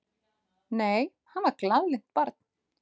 Nei, hann var glaðlynt barn.